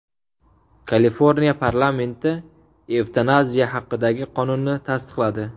Kaliforniya parlamenti evtanaziya haqidagi qonunni tasdiqladi.